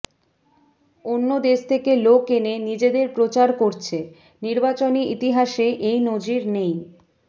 অন্য দেশ থেকে লোক এনে নিজেদের প্রচার করছে নির্বাচনী ইতিহাসে এই নজির নেই